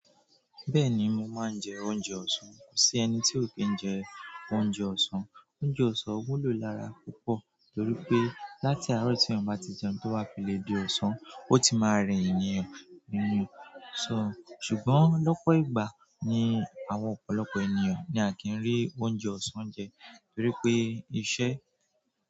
Bẹ́ẹ̀ni mo máa ń jẹ oúnjẹ ọ̀sán. Kò sí ẹni tí ò kí ń jẹ oúnjẹ ọ̀sán. Oúnjẹ ọsán wúlò lára púpọ̀ torí pé láti àárò ti èèyàn ba ti jẹun ti o bá fi lè di ọsán o ti máa re èèyàn, so ṣùgbọ́n lọ́pọ̀ ìgbà ni àwọn ọ̀pọ̀lọpọ̀ ènìyàn ni a ki n ri oúnjẹ ọsán je torí pe iṣẹ́.